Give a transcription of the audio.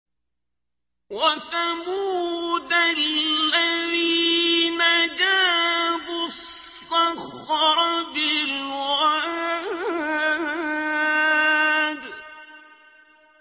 وَثَمُودَ الَّذِينَ جَابُوا الصَّخْرَ بِالْوَادِ